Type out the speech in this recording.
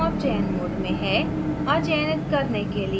अणु अब चयन mode में है